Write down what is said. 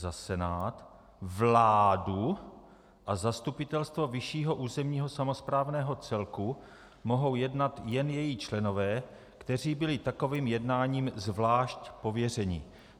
Za Senát, vládu a zastupitelstvo vyššího územního samosprávného celku mohou jednat jen její členové, kteří byli takovým jednáním zvlášť pověřeni...